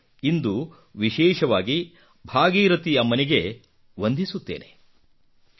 ನಾನು ಇಂದು ವಿಶೇಷವಾಗಿ ಭಾಗೀರಥಿ ಅಮ್ಮನಿಗೆ ವಂದಿಸುತ್ತೇನೆ